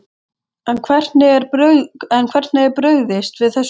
En hvernig er brugðist við þessu?